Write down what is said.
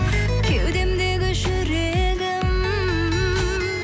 кеудемдегі жүрегім